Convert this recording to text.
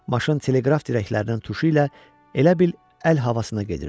Maşın teleqraf dirəklərinin tuşu ilə elə bil əl havasına gedirdi.